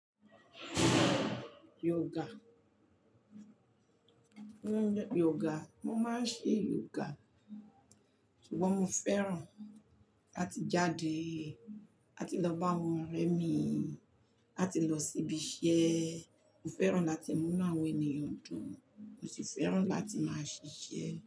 Yoga. Yoga, mo máa ń ṣe yoga, ṣùgbọ́n mo fẹ́ràn láti jáde, láti lọ bá àwọn ọ̀rẹ́ mi, láti lọ síbi iṣẹ́. Mo fẹ́ràn láti múnú àwọn ènìyàn dùn, mo sì fẹ́ràn láti máa ṣiṣẹ́